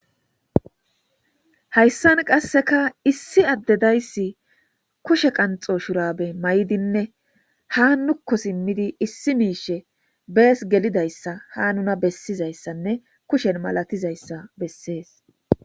Hayssan qasseka issi addedayssi kushe qanxo shurabe may7dinne ha nukko simmidi issi miishe bees gelidayssa ha nuna bessizayssanne kushen malatizayssa bessees.